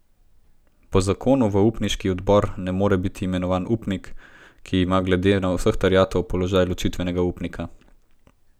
Po zakonu v upniški odbor ne more biti imenovan upnik, ki ima glede vseh terjatev položaj ločitvenega upnika.